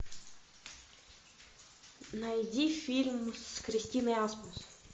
найди фильм с кристиной асмус